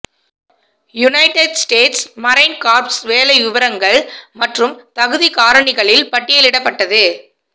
United States Marine Corps வேலை விவரங்கள் மற்றும் தகுதிக் காரணிகளில் பட்டியலிடப்பட்டது